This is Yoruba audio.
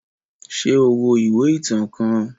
Ṣe o wo iwe itan kan?